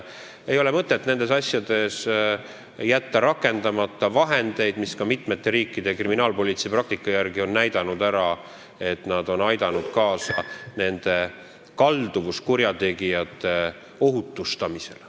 Ei ole mõtet jätta rakendamata vahendeid, mis on, nagu näha, mitmete riikide kriminaalpolitsei praktika järgi aidanud kaasa kalduvuskurjategijate ohutustamisele.